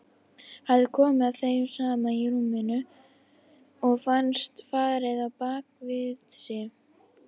Hafði komið að þeim saman í rúminu og fannst farið á bak við sig.